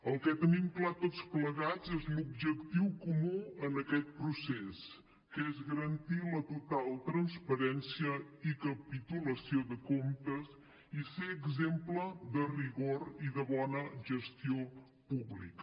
el que tenim clar tots plegats és l’objectiu comú en aquest procés que és garantir la total transparència i capitulació de comptes i ser exemple de rigor i de bona gestió pública